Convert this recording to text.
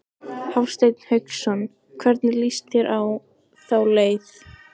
Hafsteinn Hauksson: Hvernig lýst þér á þá leið?